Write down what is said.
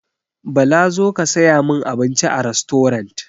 Bala zo ka saya min abinci a rastorant!